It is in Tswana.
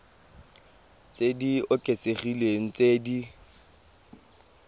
tse di oketsegileng tse di